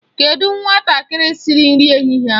Kedụ nwatakịrị siri nri ehihie ahụ?